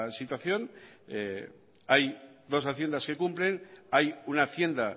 situación hay dos haciendas que cumplen hay una hacienda